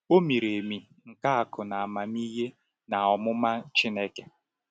“O miri emi nke akụ na amamihe na ọmụma Chineke!”